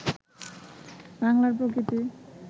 বাংলার প্রকৃতি